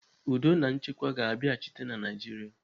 Udo na nchekwa ga-abiachịta na Naijiria.